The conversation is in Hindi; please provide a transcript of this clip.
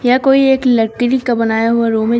यह कोई एक लकड़ी का बनाया हुआ रूम है।